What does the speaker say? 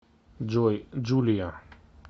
джой джулия